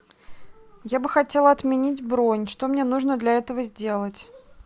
я бы хотела отменить бронь что мне нужно для этого сделать